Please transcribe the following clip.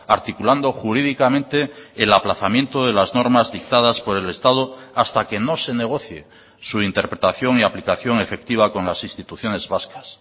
articulando jurídicamente el aplazamiento de las normas dictadas por el estado hasta que no se negocie su interpretación y aplicación efectiva con las instituciones vascas